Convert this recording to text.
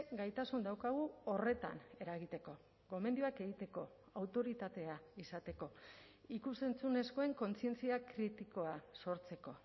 gaitasun daukagu horretan eragiteko gomendioak egiteko autoritatea izateko ikus entzunezkoen kontzientzia kritikoa sortzeko